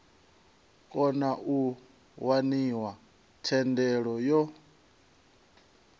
kona u waniwa thendelo yo